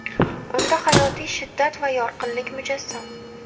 Unda hayotiy shiddat va yorqinlik mujassam.